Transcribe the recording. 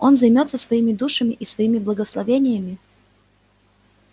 он займётся своими душами и своими благословениями